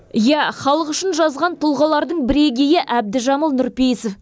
иә халық үшін жазған тұлғалардың бірегейі әбдіжәміл нұрпейісов